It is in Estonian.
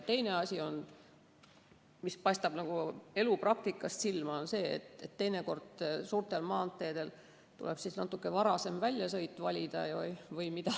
Teine asi, mis paistab elupraktikast silma, on see, et teinekord tuleb suurtel maanteedel sõitmiseks natukene varasem väljasõit valida.